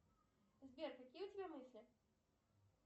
сбер какие у тебя мысли